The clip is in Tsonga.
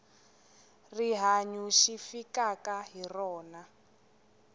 rihanyu xi fikaka hi rona